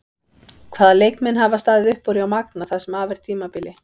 Hvaða leikmenn hafa staðið upp úr hjá Magna það sem af er tímabili?